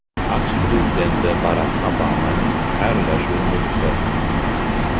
AQSh prezidenti Barak Obamaning xayrlashuv nutqi.